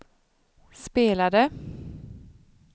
spelade